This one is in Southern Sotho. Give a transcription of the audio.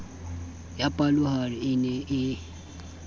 ya palohare e ne e